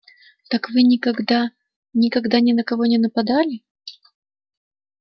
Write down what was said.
так вы никогда никогда ни на кого не нападали